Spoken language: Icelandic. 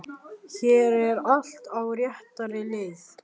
Hér er allt á réttri leið.